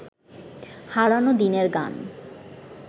হারানো দিনের গান